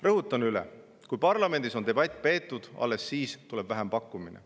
Rõhutan üle: alles siis, kui parlamendis on debatt peetud, tuleb vähempakkumine.